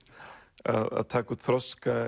að taka út þroska